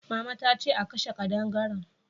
Mama ta ce a kashe kadangaren